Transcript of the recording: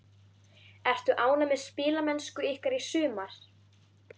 Ertu ánægð með spilamennsku ykkar í sumar?